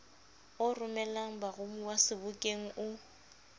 o romelang baromuwa sebokeng o